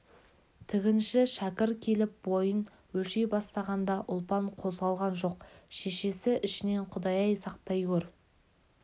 тігінші шәкір келіп бойын өлшей бастағанда ұлпан қозғалған жоқ шешесі ішінен құдай-ай сақтай көр